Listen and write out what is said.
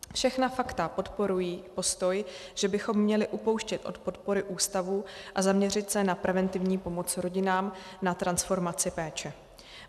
Všechna fakta podporují postoj, že bychom měli upouštět od podpory ústavů a zaměřit se na preventivní pomoc rodinám na transformaci péče.